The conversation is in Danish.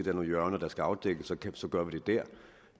er nogle hjørner der skal afdækkes så gør vi det der